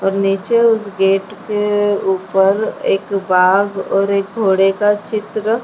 और नीचे उसे गेट के ऊपर एक वाघ और एक घोड़े का चित्र --